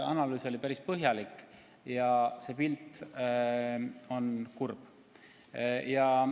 Analüüs oli päris põhjalik ja pilt on kurb.